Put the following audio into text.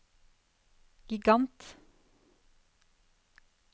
gigant